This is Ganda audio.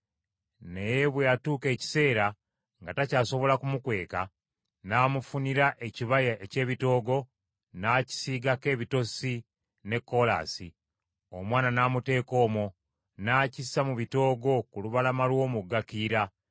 Naye bwe yatuusa ekiseera nga takyasobola kumukweka, n’amufunira ekibaya eky’ebitoogo, n’akisiigako ebitosi ne koolaasi; omwana n’amuteeka omwo, n’akissa mu bitoogo ku lubalama lw’omugga Kiyira.